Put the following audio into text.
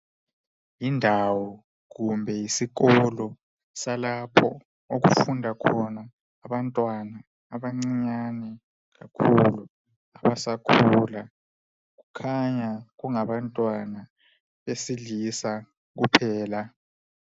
Yindawo, kumbe yisikolo salapho okufunda khona abantwana abancinyane kakhulu abasakhula. Kukhanya kungabantwana besilisa kuphela.